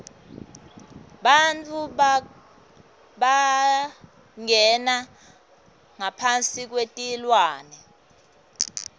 bantfu bangena ngaphasi kwetilwane